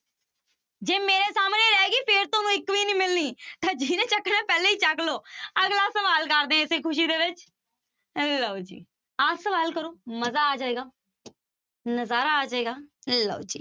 ਜੇ ਮੇਰੇ ਸਾਹਮਣੇ ਰਹਿ ਗਈ, ਫਿਰ ਤੁਹਾਨੂੰ ਇੱਕ ਵੀ ਨੀ ਮਿਲਣੀ ਤਾਂ ਜਿਹਨੀ ਚੱਕਣੀ ਪਹਿਲਾਂ ਹੀ ਚੁੱਕ ਲਵੋ ਅਗਲਾ ਸਵਾਲ ਕਰਦੇ ਹਾਂ ਇਸੇ ਖ਼ੁਸ਼ੀ ਦੇ ਵਿੱਚ ਲਓ ਜੀ ਆਹ ਸਵਾਲ ਕਰੋ ਮਜ਼ਾ ਆ ਜਾਏਗਾ ਨਜ਼ਾਰਾ ਆ ਜਾਏਗਾ ਲਓ ਜੀ।